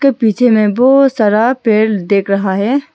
पीछे में बहुत सारा पेड़ देख रहा है।